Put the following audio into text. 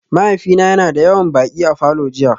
Mahaifina yana da yawan baƙi a falor jiya